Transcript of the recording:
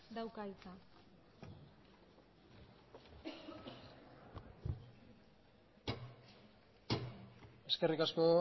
dauka hitza eskerrik asko